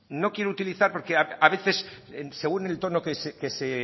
no quiero utilizar porque a veces según el tono que se